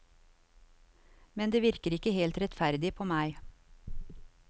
Men det virker ikke helt rettferdig på meg.